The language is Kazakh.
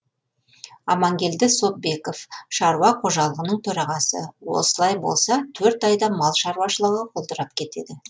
амангелді сопбеков шаруа қожалығының төрағасы осылай болса төрт айда мал шаруашылығы құлдырап кетеді